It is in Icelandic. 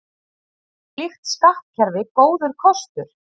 Er slíkt skattkerfi góður kostur?